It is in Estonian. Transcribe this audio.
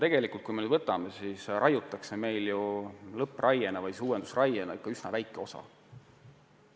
Tegelikult raiutakse meil ju uuendusraiena ikka üsna väike osa.